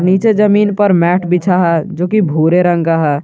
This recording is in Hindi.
पीछे जमीन पर मैट बिछा है जो की भूरे रंग का है।